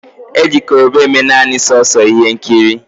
Koroba will only be used for movie roles